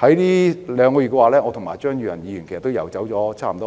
最近兩個月，我和張宇人議員已游走